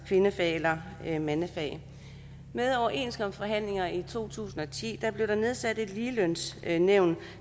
kvindefag eller mandefag ved overenskomstforhandlingerne i to tusind og ti blev der nedsat et ligelønsnævn